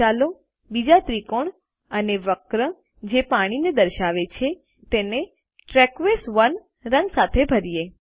આગળ ચાલો બીજો ત્રિકોણ અને વક્ર જે પાણીને દર્શાવે છે તેને ટર્કોઇઝ 1 રંગ સાથે ભરીયે